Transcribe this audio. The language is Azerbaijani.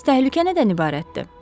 Bəs təhlükə nədən ibarətdir?